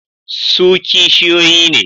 Su kishiyoyi ne.